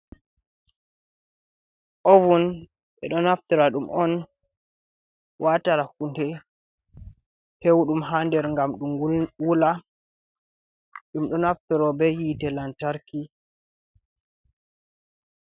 Ovun, ɓeɗo naftora ɗum on, watara hunɗe pewɗum ha nder ngam ɗum wula, ɗum do naftoro ɓe hite lantarki.